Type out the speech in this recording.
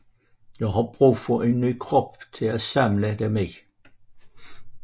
Jeg har brug for en ny krop at samle dem i